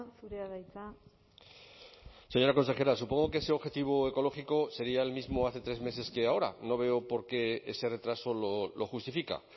zurea da hitza señora consejera supongo que ese objetivo ecológico sería el mismo hace tres meses que ahora no veo por qué ese retraso lo justifica